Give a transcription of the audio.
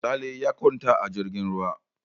Sale ya kwanta a jirgin ruwa.